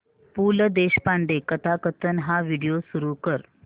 पु ल देशपांडे कथाकथन हा व्हिडिओ सुरू कर